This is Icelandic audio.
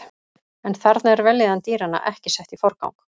En þarna er vellíðan dýranna ekki sett í forgang.